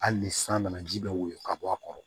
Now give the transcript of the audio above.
Hali ni san nana ji bɛ woyon ka bɔ a kɔrɔ